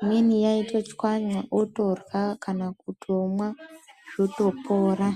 imweni yaitochwanya ororya kana kutomwa zvotopora.